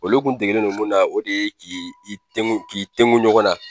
Olu kun degelen no mun na o de k'i i tengu k'i tengu ɲɔgɔnna.